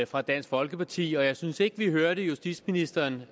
fra dansk folkeparti men jeg synes ikke vi hørte justitsministeren